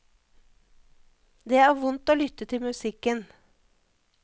Det er vondt å lytte til musikken.